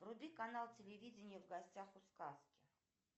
вруби канал телевидения в гостях у сказки